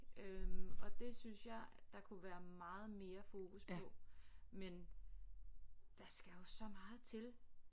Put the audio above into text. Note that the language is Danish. Øh og det synes jeg der kunne være meget mere fokus på men der skal jo så meget til